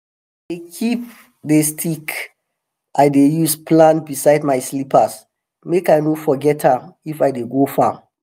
i dey keep di stick i dey use plant beside my slippers make i no forget am if i dey go farm.